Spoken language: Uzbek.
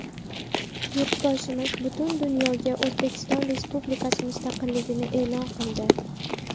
Yurtboshimiz butun dunyoga O‘zbekiston Respublikasi mustaqilligini e’lon qildi.